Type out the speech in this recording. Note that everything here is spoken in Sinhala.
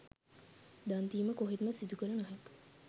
දන් දීම කොහෙත්ම සිදු කළ නොහැක.